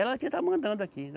Ela que está mandando aqui.